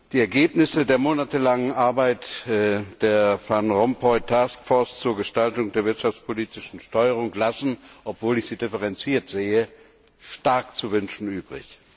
Die Ergebnisse der monatelangen Arbeit der Van Rompuy Task Force zur Gestaltung der wirtschaftspolitischen Steuerung lassen obwohl ich sie differenziert sehe stark zu wünschen übrig.